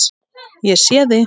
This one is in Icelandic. Ég sé þig.